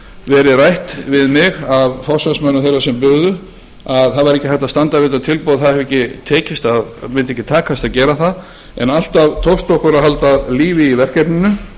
verið rætt við mig af forsvarsmönnum þeirra sem buðu að það væri ekki hægt að standa við þetta tilboð það mundi ekki takast að gera það en alltaf tókst okkur að halda lífi í verkefninu